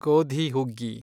ಗೋಧಿ ಹುಗ್ಗಿ